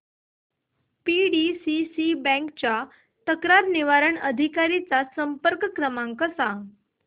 PDCC bank च्या तक्रार निवारण अधिकारी चा संपर्क क्रमांक सांग